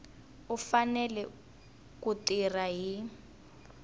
u fanele ku tirha hi